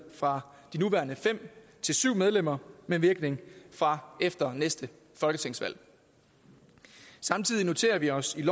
fra de nuværende fem til syv medlemmer med virkning fra efter næste folketingsvalg samtidig noterer vi os i